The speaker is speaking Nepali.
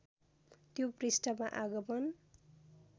त्यो पृष्ठमा आगमन